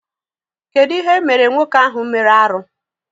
Kedụ ihe emere nwoke ahụ mere arụ?